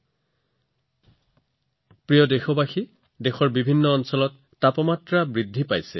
মোৰ মৰমৰ দেশবাসীসকল দেশৰ বেছিভাগ ঠাইত উত্তাপ অতি দ্ৰুতগতিত বৃদ্ধি পাইছে